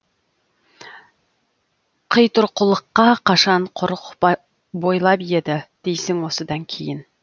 қитұрқылыққа қашан құрық бойлап еді дейсің осыдан кейін